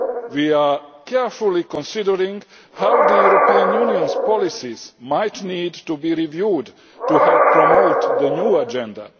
We are carefully considering how the European Union's policies might need to be reviewed to help promote the new agenda.